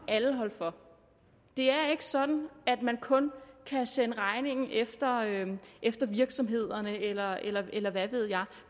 alle holde for det er ikke sådan at man kun kan sende regningen efter efter virksomhederne eller eller hvad ved jeg